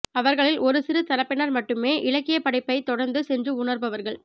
அவர்களில் ஒரு சிறு தரப்பினர் மட்டுமே இலக்கியப்படைப்பைத் தொடர்ந்து சென்று உணர்பவர்கள்